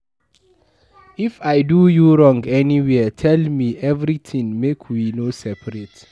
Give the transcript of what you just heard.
If I do you wrong anywhere tell me everything make we no seperate